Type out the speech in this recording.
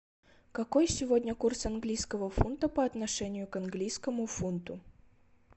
какой сегодня курс английского фунта по отношению к английскому фунту